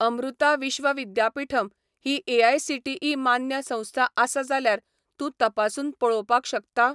अमृता विश्व विद्यापीठम ही एआयसीटीई मान्य संस्था आसा जाल्यार तूं तपासून पळोवपाक शकता?